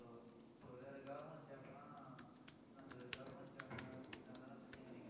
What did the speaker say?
இப்போ இப்போ government job னா என்ன சொல்றது government job~job ல எல்லாம் செஞ்சீங்கன்னு வைங்களேன்,